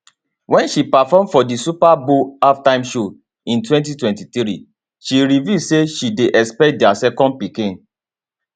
wen she perform for di super bowl halftime show in 2023 she reveal say she dey expect dia second pikin